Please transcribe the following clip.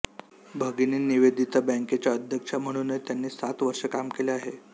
भगिनी निवेदिता बँकेच्या अध्यक्षा म्हणूनही त्यांनी सात वर्षे काम केले आहे